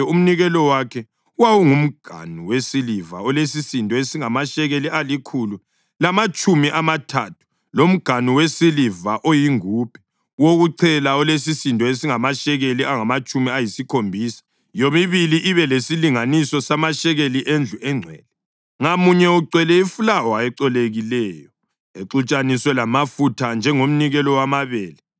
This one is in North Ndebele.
Umnikelo wakhe: wawungumganu wesiliva olesisindo esingamashekeli alikhulu lamatshumi amathathu, lomganu wesiliva oyingubhe wokuchela olesisindo esingamashekeli angamatshumi ayisikhombisa, yomibili ibe lesilinganiso samashekeli endlu engcwele, ngamunye ugcwele ifulawa ecolekileyo exutshaniswe lamafutha njengomnikelo wamabele;